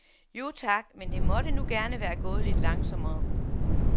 Jo tak, men det måtte nu gerne være gået lidt langsommere.